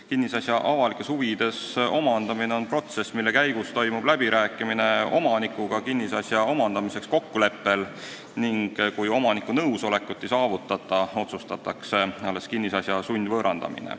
Kinnisasja avalikes huvides omandamine on protsess, mille käigus toimub läbirääkimine omanikuga kinnisasja omandamiseks kokkuleppel ning kui omaniku nõusolekut ei saavutata, alles siis otsustatakse kinnisasja sundvõõrandamine.